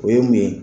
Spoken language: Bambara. O ye mun ye